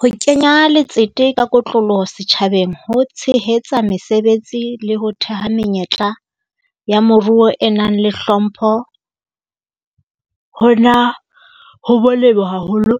Ho kenya letsete ka kotloloho setjhabeng ho tshehetsa mesebetsi le ho theha menyetla ya moruo e nang le hlompho, hona ho molemo haholo